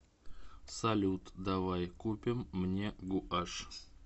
салют давай купим мне гуашь